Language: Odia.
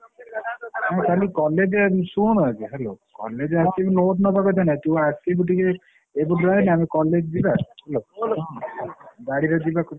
ହଁ କାଲି college ଶୁଣୁ ଆଗ hello । ଆସିକି note ନବାକଥା ନାଇ ତୁ ଆସିବୁ ଟିକେ ଏପୁଟୁଆ ଆମେ college ଯିବା hello । ଗାଡିରେ ଯିବାକୁ ଆଉ।